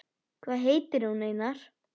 Hvað heitir hún, Einar?